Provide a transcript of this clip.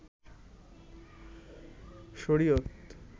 শরিয়ত